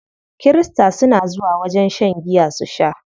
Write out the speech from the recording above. Kirista suna zuwa wajen shan giya su sha.